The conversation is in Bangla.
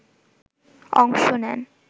অংশ নেন